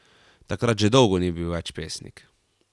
Takrat že dolgo ni bil več pesnik.